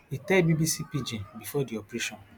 e tell bbc pidgin before di operation